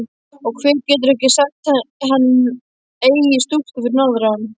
Og hver getur ekki sagt hann eigi stúlku fyrir norðan.